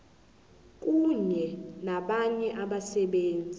kunye nabanye abasebenzi